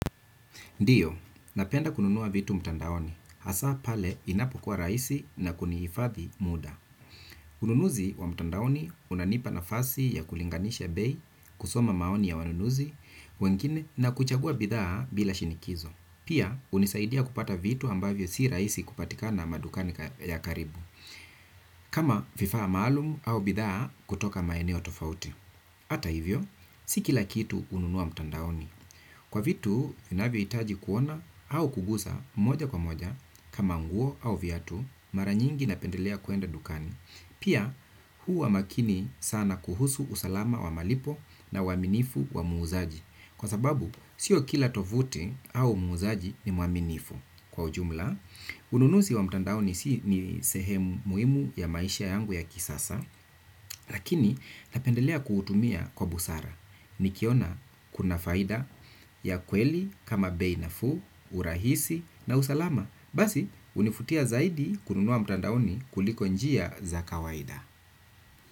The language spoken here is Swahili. Ndiyo, napenda kununua vitu mtandaoni, hasa pale inapokuwa rahisi na kuniifadhi muda. Ununuzi wa mtandaoni unanipa nafasi ya kulinganisha bei, kusoma maoni ya wanunuzi wengine, na kuchagua bidhaa bila shinikizo. Pia, hunisaidia kupata vitu ambavyo si raisi kupatika na madukani ya karibu, kama vifaa maalumu au bidhaa kutoka maeneo tofauti. Ata hivyo si kila kitu hununua mtandaoni kuna vitu vinavyohitaji kuona au kukuza moja kwa moja, kama nguo au viatu, mara nyingi napendelea kwenda dukani. Pia, huwa makini sana kuhusu usalama wa malipo na uaminifu wa muuzaji. Kwa sababu, si kila tovuti au muuzaji ni mwaminifu. Kwa ujumla, ununuzi wa mtandaoni si ni sehemu muhimu ya maisha yangu ya kisasa lakini, napendelea kutumia kwa busara nikiona, kuna faida ya kweli kama bei nafuu, urahisi na usalama basi, hunifutia zaidi kununua mtandaoni kuliko njia za kawaida.